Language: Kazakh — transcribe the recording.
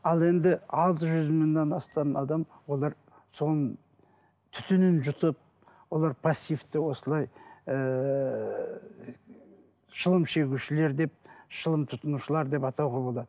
ал енді алты жүз мыңнан астам адам олар соның түтінін жұтып олар пассивті осылай ііі шылым шегушілер деп шылым тұтынушылар деп атауға болады